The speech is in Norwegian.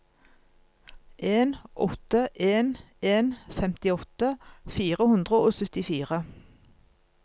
en åtte en en femtiåtte fire hundre og syttifire